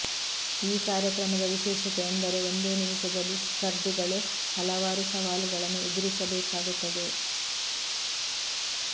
ಈ ಕಾರ್ಯಕ್ರಮದ ವಿಶೇಷತೆ ಎಂದರೆ ಒಂದೇ ನಿಮಿಷದಲ್ಲಿ ಸ್ಪರ್ಧಿಗಳು ಹಲವಾರು ಸವಾಲುಗಳನ್ನು ಎದುರಿಸಬೇಕಾಗುತ್ತದೆ